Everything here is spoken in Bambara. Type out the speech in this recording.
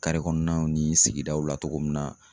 kɔɔnaw ni sigidaw la togo min na